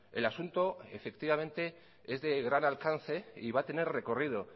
el asunto efectivamente es de gran alcance y va a tener recorrido